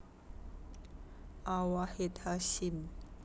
A Wahid Hasyim